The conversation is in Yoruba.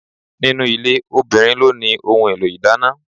Ninu ilé, obìnrin ló ni ohun èlò ìdáná.